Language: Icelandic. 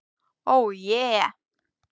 Ó je.